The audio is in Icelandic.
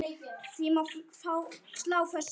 Því má slá föstu.